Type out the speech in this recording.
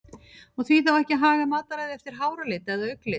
Og því þá ekki að haga mataræði eftir háralit eða augnlit?